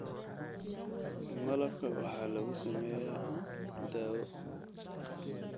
Malabka waxaa lagu sameeyaa daawo.